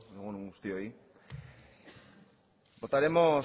egun on guztioi votaremos